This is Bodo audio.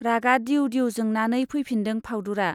रागा दिउ दिउ जोंनानै फैफिनदों फाउदुरा।